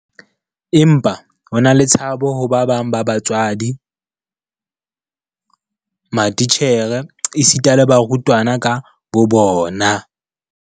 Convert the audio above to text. Empa ho na le tshabo ho ba bang ba batswadi, matitjhere esita le barutwana ka bobona.